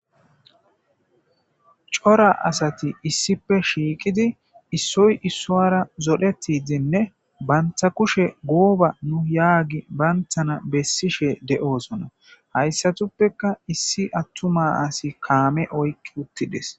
Cora asati issipe shiiqidi issoy issoara zodhetidinne bantha kushe gooba nu yaagi banthana bessishe de'oosona hayssatuppeka issi attuma asi kaame oykki uttides.